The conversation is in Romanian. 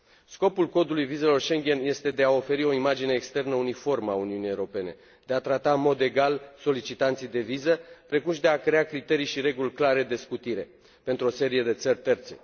Scopul codului vizelor Schengen este de a oferi o imagine externă uniformă a Uniunii Europene, de a trata în mod egal solicitanții de viză, precum și de a crea criterii și reguli clare de scutire pentru o serie de țări terțe.